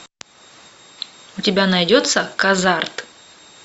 у тебя найдется казарт